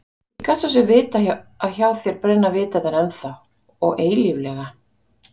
Ég gat svo sem vitað að hjá þér brenna vitarnir ennþá og eilíflega